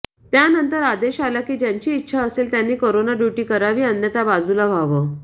त्यानंतर आदेश आला की ज्यांची इच्छा असेल त्यांनी करोना ड्युटी करावी अन्यथा बाजुला व्हावं